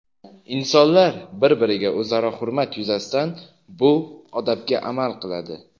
insonlar bir-biriga o‘zaro hurmat yuzasidan bu odobga amal qiladi.